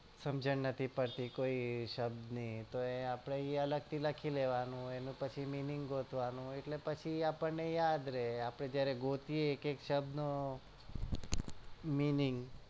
સમજણ નથી પડતી કોઈ શબ્દની તોય આપડે એ અગલ થી લખી લેવાનું એનો પછી minning ગોતવાનું એટલે પછી યાદ રે આપડે જયારે ગોતીએ એક એક શબ્દ નો minning